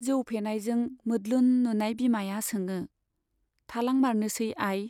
जौ फेनायजों मोद्लुन नुनाय बिमाया सोङो, थालांमारनोसै आइ?